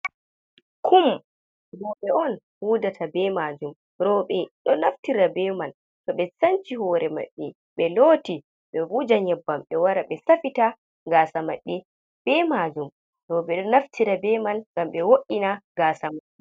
Kum, roɓe on huudata be maajum, roɓe ɗo naftira be man to ɓe sanci hore maɓɓe, ɓe looti, ɓe wuja nyebbam, ɓe wara ɓe safita gaasa maɓɓe maajum. Roɓe ɗo naftira be man ngam ɓe wo'ina gaasa mai.